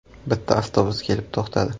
Bitta avtobus kelib to‘xtadi.